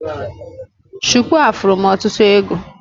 Shuku a furu m ọtụtụ ego